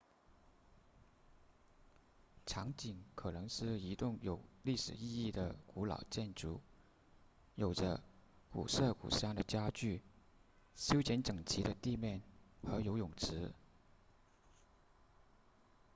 场景可能是一栋有历史意义的古老建筑有着古色古香的家具修剪整齐的地面和游泳池